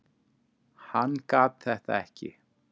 Hann gat þetta ekki.